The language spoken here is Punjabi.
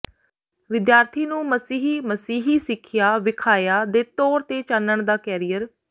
ਵਿਦਿਆਰਥੀ ਨੂੰ ਮਸੀਹ ਮਸੀਹੀ ਸਿੱਖਿਆ ਵੇਖਾਇਆ ਦੇ ਤੌਰ ਤੇ ਚਾਨਣ ਦਾ ਕੈਰੀਅਰ